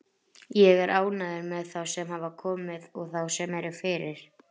Ég er ánægður með þá sem hafa komið og þá sem eru fyrir.